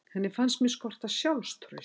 Henni fannst mig skorta sjálfstraust.